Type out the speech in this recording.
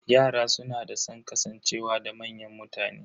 Yara suna da san kasancewa da manyan mutane.